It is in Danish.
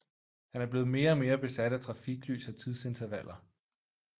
Han er blevet mere og mere besat af trafiklys og tidsintervaller